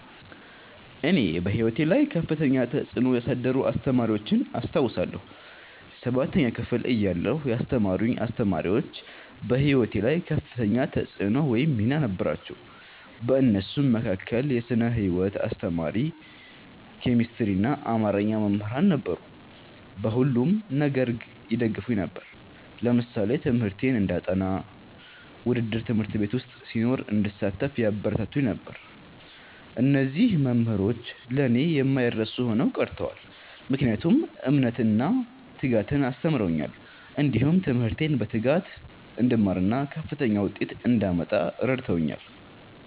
እኔ በሕይወቴ ላይ ከፍተኛ ተጽዕኖ ያሳደሩ አስተማሪዎችን አስታውሳለሁ። ሠባተኛ ክፍል እያለሁ ያስተማሩኝ አስተማሪዎች በህይወቴ ላይ ከፍተኛ ተፅዕኖ ወይም ሚና ነበራቸው። ከእነሱም መካከል የስነ ህይወት አስተማሪ፣ ኬሚስትሪና አማርኛ መምህራን ነበሩ። በሁሉም ነገር ይደግፉኝ ነበር። ለምሳሌ ትምህርቴን እንዳጠ፤ ውድድር በ ት/ቤት ዉስጥ ሲኖር እንድሳተፍ ያበረታቱኝ ነበር። እነዚህ መምህሮች ለእኔ የማይረሱ ሆነው ቀርተዋል። ምክንያቱም እምነትን እና ትጋትን አስተምረውኛል። እንዲሁም ትምህርቴን በትጋት እንድማርና ከፍተኛ ዉጤት እንዳመጣ እረድተውኛል።